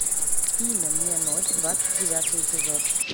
имя мне ночь двадцать девятый эпизод